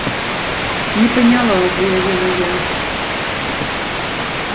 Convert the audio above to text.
не поняла заявила я